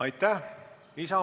Aitäh!